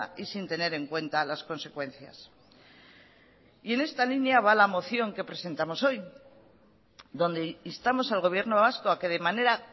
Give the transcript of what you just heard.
y sin tener en cuenta las consecuencias y en esta línea va la moción que presentamos hoy donde instamos al gobierno vasco a que de manera